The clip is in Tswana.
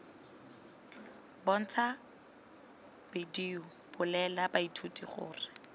bontsha bedio bolelela baithuti gore